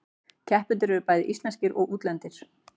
Keppendur eru bæði íslenskir og útlendir